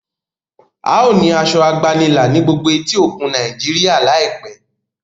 ào ní Aṣọ àgbànilà ní gbógbó etí òkun Nàìjíríà láìpé